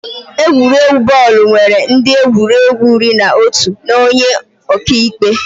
Egwuregwu bọọlụ nwere ndị egwuregwu iri na otu na onye ọka ikpe